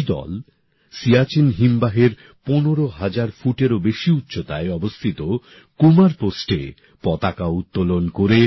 এই দল সিয়াচেন হিমবাহের ১৫ হাজার ফুটেরও বেশি উচ্চতায় অবস্থিত কুমার পোস্টে পতাকা উত্তোলন করে